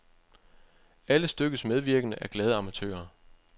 Alle stykkets medvirkende er glade amatører.